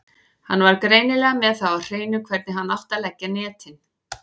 Hann var greinilega með það á hreinu hvernig hann átti að leggja netin.